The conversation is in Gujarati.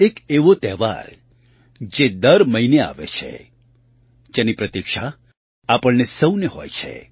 એક એવો તહેવાર જે દર મહિને આવે છે જેની પ્રતીક્ષા આપણને સહુને હોય છે